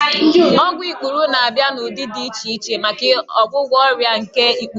Ọgwụ ikpuru na-abịa n'ụdị dị iche iche maka ọgwụgwọ ọrịa nke ikpuru